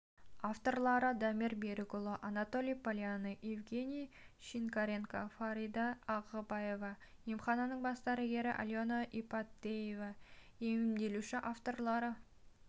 авторлары дамир берікұлы анатолий полянный евгений шинкаренко фарида ағыбаева емхананың бас дәрігері алена ипатева емделуші авторлары